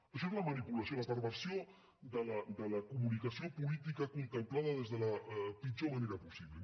això és la manipulació la perversió de la comunicació política contemplada des de la pitjor manera possible